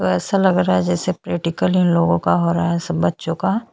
वैसा लग रहा है जैसे प्रैक्टिकल इन लोगों का हो रहा है सब बच्चों का --